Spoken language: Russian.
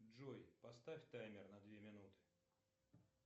джой поставь таймер на две минуты